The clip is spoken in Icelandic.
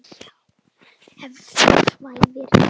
Að þú svæfir hjá.